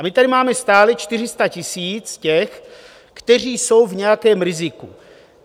A my tady máme stále 400 000 těch, kteří jsou v nějakém riziku.